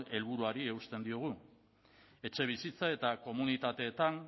helburuari eusten diogu etxebizitza eta komunitateetan